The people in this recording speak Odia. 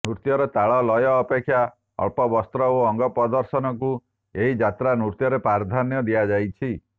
ନୃତ୍ୟର ତାଳ ଲୟ ଅପେକ୍ଷା ଅଳ୍ପ ବସ୍ତ୍ର ଓ ଅଙ୍ଗ ପ୍ରଦର୍ଶନକୁ ଏହି ଯାତ୍ରା ନୃତ୍ୟରେ ପ୍ରାଧାନ୍ୟ ଦିଆଯାଇଛି